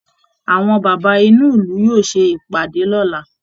Àwọn bàbá inú ìlú yóò ṣe ìpàdé lọ́la